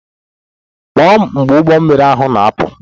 Kpọọ m mgbe ụgbọ mmiri ahụ na-apụ!